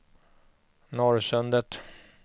Norrsundet